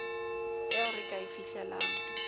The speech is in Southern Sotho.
eo re ka e fihlelang